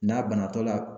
N'a banatɔ la